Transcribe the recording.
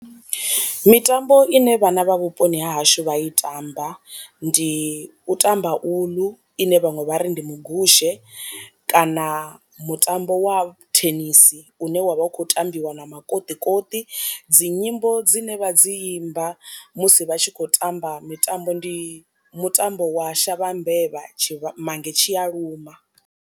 Mitambo i ne vhana vha vhuponi ha hashu vha i tamba ndi u tamba uḽu ine vhaṅwe vha ri ndi mu gushe, kana mutambo wa thenisi une wavha u kho tambiwa na makoṱi koṱi dzi nyimbo dzine vha dzi imba musi vha tshi khou tamba mitambo ndi mutambo wa shavha mbevha tshi mange tshi a luma.